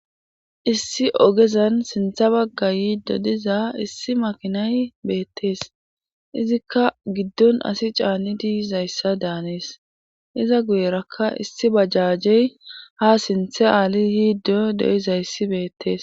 Issi ogezan sintha bagga yiiddo diza issi makinay beettees izikka giddon asi caanni diizayssa daanees iza guyerakka issi bajajey ha sinthe aali yiiddo do7izayssi beettees.